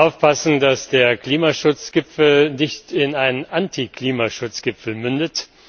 Wir müssen aufpassen, dass der Klimaschutzgipfel nicht in einen Antiklimaschutzgipfel mündet.